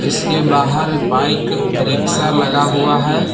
उसके बाहर bike rickshaw लगा हुआ है।